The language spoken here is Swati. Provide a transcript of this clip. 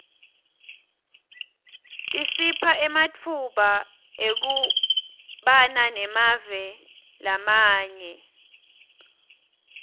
tisipha ematfuba ekubana emave lamanye